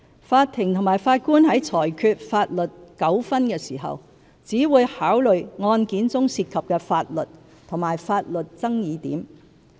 法庭和法官在裁決法律糾紛時，只會考慮案件中涉及的法律及法律爭議點。